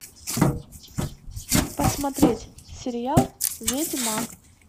посмотреть сериал ведьмак